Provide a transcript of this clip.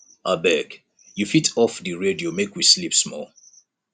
abeg you fit off di radio make we sleep small